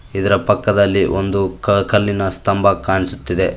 ಇದರ ಪಕ್ಕದಲ್ಲಿ ಒಂದು ಕ ಕಲ್ಲಿನ ಸ್ತಂಬ ಕಾಣಿಸುತ್ತಿದೆ.